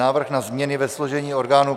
Návrh na změny ve složení orgánů